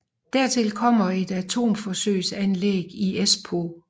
Dertil kommer et atomforsøgsanlæg i Espoo